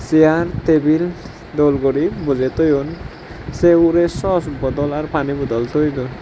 diyan tebil dol guri bojey toyon sei ugurey sos bodol ar pani bodol toi don.